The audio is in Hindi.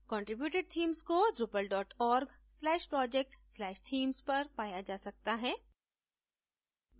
contributed themes को drupal org/project/themes पर पाया जा सकता है